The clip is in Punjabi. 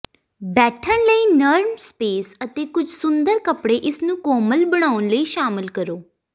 ਬੈਠਣ ਲਈ ਨਰਮ ਸਪੇਸ ਅਤੇ ਕੁਝ ਸੁੰਦਰ ਕੱਪੜੇ ਇਸ ਨੂੰ ਕੋਮਲ ਬਣਾਉਣ ਲਈ ਸ਼ਾਮਲ ਕਰੋ